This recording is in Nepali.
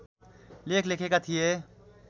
लेख लेखेका थिए